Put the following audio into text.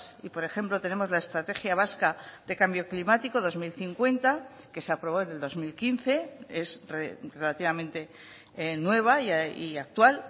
y por ejemplo tenemos la estrategia vasca de cambio climático dos mil cincuenta que se aprobó en el dos mil quince es relativamente nueva y actual